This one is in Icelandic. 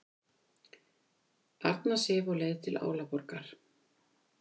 Arna Sif á leið til Álaborgar